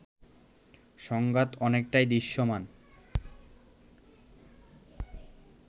সংঘাত অনেকটাই দৃশ্যমান